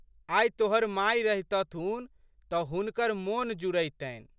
आइ तोहर माय रहितथुन तऽ हुनकर मोन जुड़इतनि।